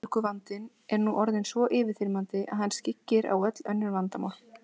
Verðbólguvandinn er nú orðinn svo yfirþyrmandi að hann skyggir á öll önnur vandamál.